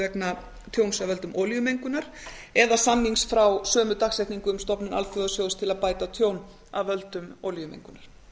vegna tjóns af völdum olíumengunar eða samnings frá sömu dagsetningu um stofnun alþjóðasjóðs til að bæta tjón af völdum olíumengunar